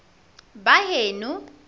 baheno